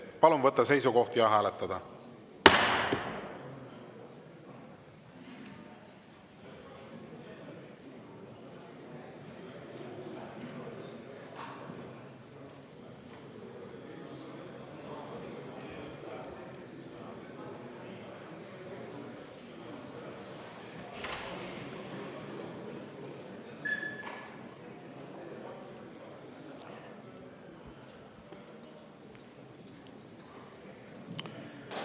Palun võtta seisukoht ja hääletada!